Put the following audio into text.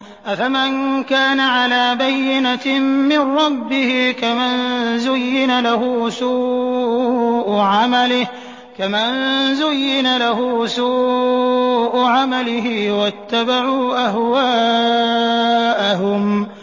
أَفَمَن كَانَ عَلَىٰ بَيِّنَةٍ مِّن رَّبِّهِ كَمَن زُيِّنَ لَهُ سُوءُ عَمَلِهِ وَاتَّبَعُوا أَهْوَاءَهُم